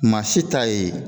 Maa si t'a ye